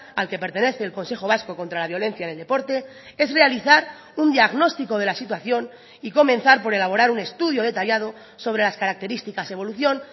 al que pertenece el consejo vasco contra la violencia en el deporte es realizar un diagnóstico de la situación y comenzar por elaborar un estudio detallado sobre las características evolución